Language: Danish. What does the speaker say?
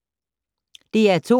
DR2